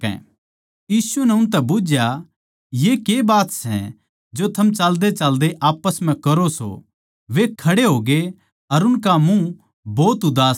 यीशु नै उनतै बुझया ये कै बात सै जो थम चाल्देचाल्दे आप्पस म्ह करो सों वे खड़े होगे अर उनका मुँह भोत उदास था